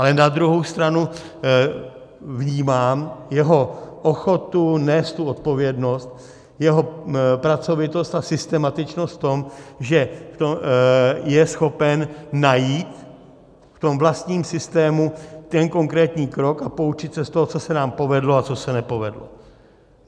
Ale na druhou stranu vnímám jeho ochotu nést tu odpovědnost, jeho pracovitost a systematičnost v tom, že je schopen najít v tom vlastním systému ten konkrétní krok a poučit se z toho, co se nám povedlo a co se nepovedlo.